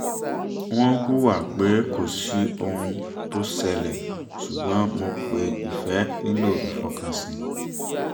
wọ́n hùwà pé kò sí ohun tó ṣẹlẹ̀ ṣùgbọ́n mọ̀ pé ìfẹ́ nílò ìfọkànsìn